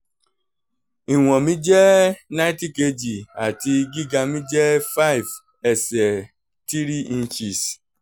ìwọ̀n mi jẹ́ ninety kg àti gíga mi jẹ́ five ẹsẹ̀ three inches